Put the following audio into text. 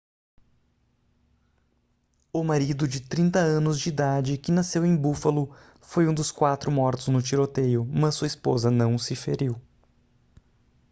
o marido de 30 anos de idade que nasceu em buffalo foi um dos quatro mortos no tiroteio mas sua esposa não se feriu